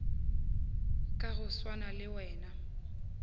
ka go swana le wena